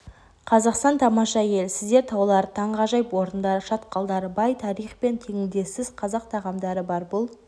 қазақстан тамаша ел сіздерде таулар таңғажайып орындар шатқалдар бай тарих пен теңдессіз қазақ тағамдары бар бұл